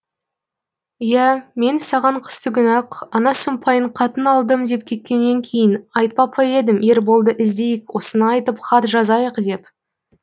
иә мен саған қыстыгүні ақ ана сұмпайың қатын алдым деп кеткеннен кейін айтпап па едім ерболды іздейік осыны айтып хат жазайық деп